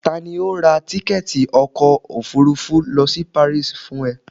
tani o ra tikẹti ọkọ ofúrúfú lo si Paris fún e?